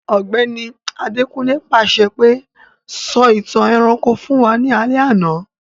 Ògbẹ́ni Adekunle pàṣẹ pe, 'Sọ ìtàn ẹranko fun wa ni alẹ́ àná'